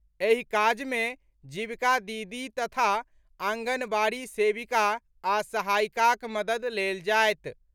एहि काज मे जीविका दीदी तथा आंगनबाड़ी सेविका आ सहायिकाक मददि लेल जायत।